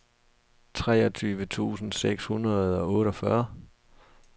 treogtyve tusind seks hundrede og otteogfyrre